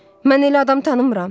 Mən elə adam tanımıram.